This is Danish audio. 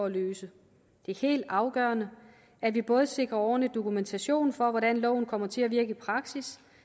at løse det er helt afgørende at vi både sikrer ordentlig dokumentation for hvordan loven kommer til at virke i praksis